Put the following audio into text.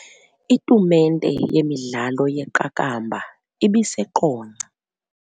Itumente yemidlalo yeqakamba ibiseQonce.